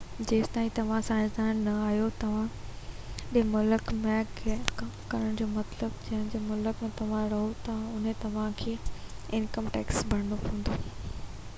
جيستائين توهان سياستدان نہ آهيو پرڏيهي ملڪ ۾ ڪم ڪرڻ جو مطلب تہ جنهن ملڪ ۾ توهان رهو ٿا اتي توهان کي انڪم ٽيڪس ڀرڻو پوندو